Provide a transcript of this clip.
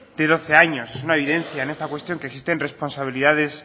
de doce años es una evidencia en esta cuestión que existen responsabilidades